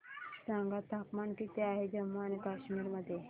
सांगा तापमान किती आहे जम्मू आणि कश्मीर मध्ये